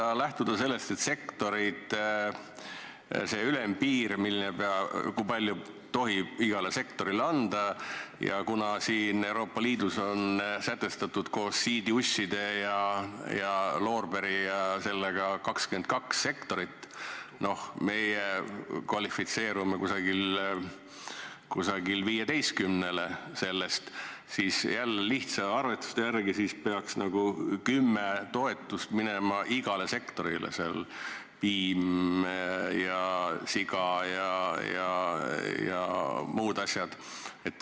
Kui lähtuda sektori ülempiirist, kui palju tohib igale sektorile anda, ja sellest, et Euroopa Liidus on koos siidiusside ja loorberi ja selliste asjadega sätestatud 22 sektorit ning meie kvalifitseerume umbes 15-le, siis jälle lihtsa arvestuse järgi peaks nagu 10 toetust minema igale sektorile, piim ja siga ja muud asjad.